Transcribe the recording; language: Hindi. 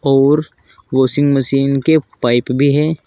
और वाशिंग मशीन के पाइप भी हैं।